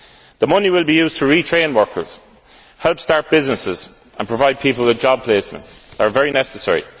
The money will be used to re train workers, help start businesses and provide people with job placements, which are very necessary.